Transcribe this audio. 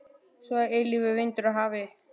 Svo er eilífur vindur af hafi.